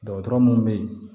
Dɔgɔtɔrɔ mun bɛ ye